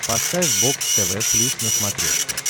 поставь бокс тв плюс на смотрешке